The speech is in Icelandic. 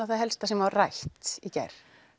það helsta sem var rætt í gær